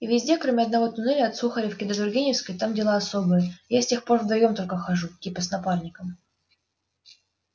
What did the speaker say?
и везде кроме одного туннеля от сухаревки до тургеневской там дела особые я с тех пор вдвоём только хожу типа с напарником